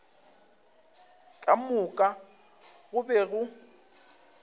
ka moka go be go